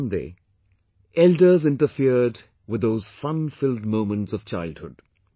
But, one day elders interfered with those funfilled moments of childhood